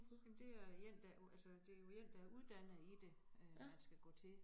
Jamen det er én der altså det jo én der uddannet i det øh man skal gå til